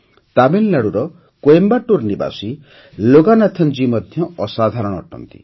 ତାମିଲନାଡୁର କୋଏମ୍ବାଟୁର ନିବାସୀ ଲୋଗାନାଥନ ଜୀ ମଧ୍ୟ ଅସାଧାରଣ ଅଟନ୍ତି